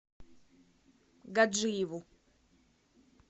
гаджиеву